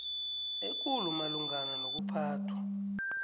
ekulu malungana nokuphathwa